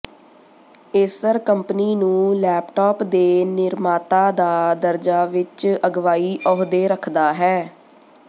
Acer company ਨੂੰ laptop ਦੇ ਨਿਰਮਾਤਾ ਦਾ ਦਰਜਾ ਵਿਚ ਅਗਵਾਈ ਅਹੁਦੇ ਰੱਖਦਾ ਹੈ